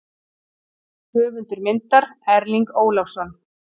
Höfundur myndar: Erling Ólafsson.